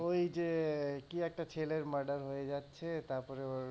ওই যে কি একটা ছেলের murder হয়ে যাচ্ছে,